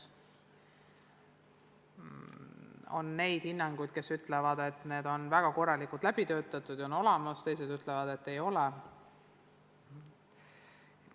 On inimesi, kes ütlevad, et need on väga korralikult läbi töötatud ja kõik vajalik on olemas, teised ütlevad, et ei ole.